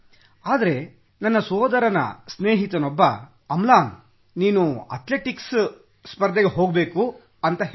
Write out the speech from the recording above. ಆದರೆ ನನ್ನ ಸೋದರನ ಸ್ನೇಹಿತನೊಬ್ಬ ಅಮ್ಲಾನ್ ನೀನು ಅಥ್ಲೆಟಿಕ್ಸ್ ಸ್ಪರ್ಧೆಗೆ ಹೋಗಬೇಕು ಎಂದು ಹೇಳಿದ